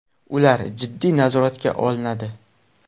Ular jiddiy nazoratga olinadi.